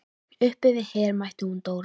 Uppi við Her mætti hún Dóra.